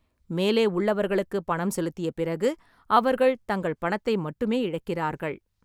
மேலே உள்ளவர்களுக்கு பணம் செலுத்திய பிறகு, அவர்கள் தங்கள் பணத்தை மட்டுமே இழக்கிறார்கள்.